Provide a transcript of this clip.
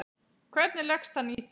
Hvernig leggst hann í þig?